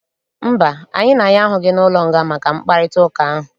Mba, anyị na ya ahụghị n'ụlọnga maka mkparịtaụka ahụ.